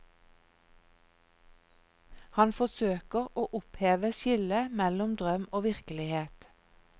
Han forsøker å oppheve skillet mellom drøm og virkelighet.